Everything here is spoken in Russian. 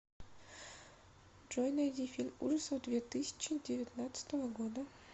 джой найди фильм ужасов две тысчи девятнадцатого года